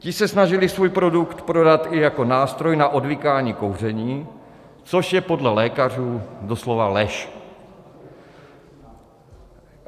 Ti se snažili svůj produkt prodat i jako nástroj na odvykání kouření, což je podle lékařů doslova lež.